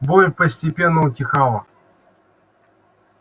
боль постепенно утихала